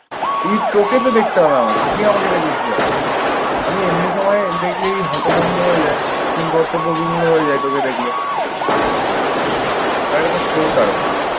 তুই তোকে তো দেখতে হবে আমাকে। তুই আমাকে দেখবি কিভাবে? আমি এমনি সময় দেখলেই হতভম্ব হয়ে যাই, কিংকর্তব্যবিমূঢ় হয়ে যাই তোকে দেখলে। আর এইটা তো show তার উপরে।